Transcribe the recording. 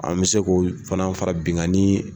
An bɛ se k'o fana fara binkani